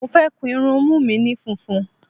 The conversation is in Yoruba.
Mo fẹ́ kun irunmú mi ni funfun.